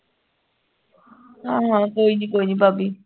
ਹਾਂ ਹਾਂ ਕੋਈ ਨੀ ਕੋਈ ਨੀ ਭਾਭੀ